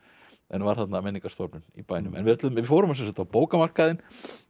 var þarna menningarstofnun í bænum við fórum á bókamarkaðinn